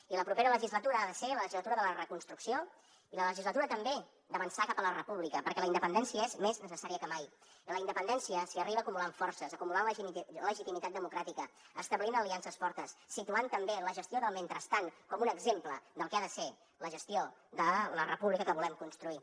i la propera legislatura ha de ser la legislatura de la reconstrucció i la legislatura també d’avançar cap a la república perquè la independència és més necessària que mai i a la independència s’hi arriba a acumulant forces acumulant legitimitat democràtica establint aliances fortes situant també la gestió del mentrestant com un exemple del que ha de ser la gestió de la república que volem construir